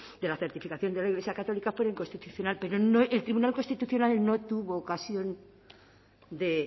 de la certificación de la iglesia católica fuera inconstitucional pero el tribunal constitucional no tuvo ocasión de